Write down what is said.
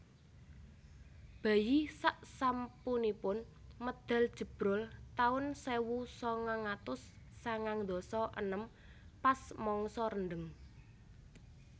Bayi sak sasampunipun medal jebrol taun sewu sangang atus sangang ndasa enem pas mangsa rendheng